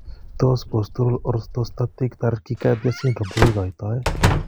Tos postural orthostatic tachycardia syndrome kokikoitoo